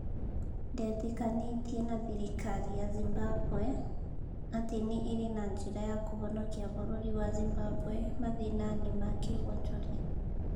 Ndetĩkanĩtie na thirikari ya Zimbabwe atĩ nĩ ĩrĩ na njĩra ya kũhonokia bũrũri wa Zimbabwe mathĩnainĩ ma kĩ wonjoria.